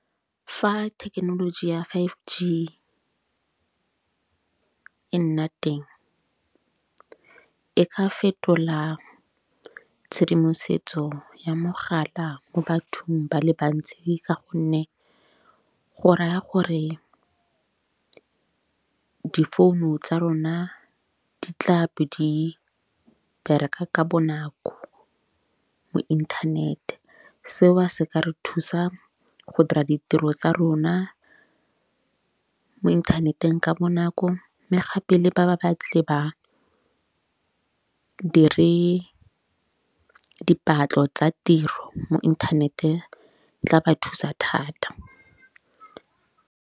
Fa thekenoloji ya five G e nna teng e ka fetola tshedimosetso ya mogala mo bathong ba le bantsi. Ka gonne go raya gore difounu tsa rona di tla be di bereka ka bonako mo inthanete. Seo se ka re thusa go dira ditiro tsa rona mo inthaneteng ka bonako. Mme ga pele ba ba batlile ba, be re dipatlo tsa tiro mo inthanete tla ba thusa thata.